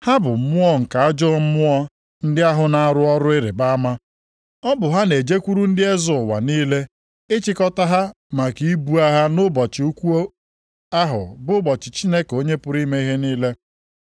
Ha bụ mmụọ nke ajọ mmụọ ndị ahụ na-arụ ọrụ ịrịbama. Ọ bụ ha na-ejekwuru ndị eze ụwa niile ịchịkọta ha maka ibu agha nʼụbọchị ukwu ahụ bụ ụbọchị Chineke Onye pụrụ ime ihe niile.